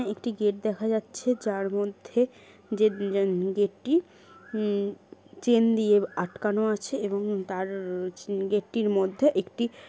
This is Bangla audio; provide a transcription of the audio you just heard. একটি গেট দেখা যাচ্ছে যার মধ্যে গেটটি উম-- চেন দিয়ে আটকানো আছে এবং তার গেটটির মধ্যে একটি--